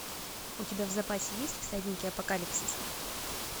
у тебя в запасе есть всадники апокалипсиса